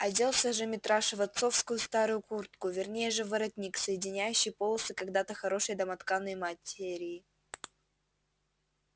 оделся же митраша в отцовскую старую куртку вернее же в воротник соединяющий полосы когда-то хорошей домотканной материей